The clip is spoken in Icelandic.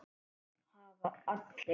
Það hafa allir